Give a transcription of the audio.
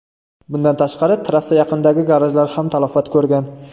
Bundan tashqari, trassa yaqinidagi garajlar ham talafot ko‘rgan.